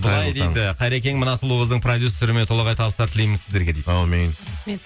қайрекең мына сұлу қыздың продюсеріне толағай табыстар тілейміх сіздерге дейді әумин